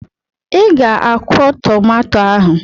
Ị ga akwọ tomato ahụ!